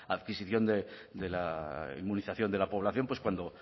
adquisición de la inmunización de la población